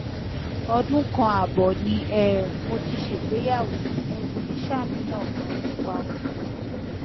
ọdún kan ààbọ ni um mo ti ṣègbéyàwó mo sì ń ṣàníyàn ganan nípa oyún